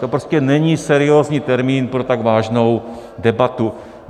To prostě není seriózní termín pro tak vážnou debatu.